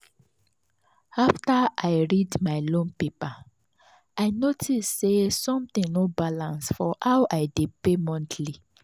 after i read my loan paper i notice say something no balance for how i dey pay monthly.